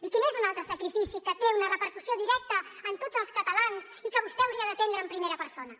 i quin és un altre sacrifici que té una repercussió directa en tots els catalans i que vostè hauria d’atendre en primera persona